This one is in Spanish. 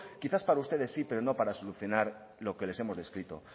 quizás para ustedes sí pero no para solucionar lo que les hemos descrito